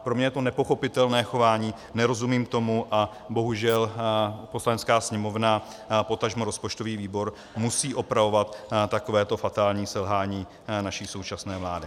Pro mě je to nepochopitelné chování, nerozumím tomu, a bohužel Poslanecká sněmovna, potažmo rozpočtový výbor musí opravovat takového fatální selhání naší současné vlády.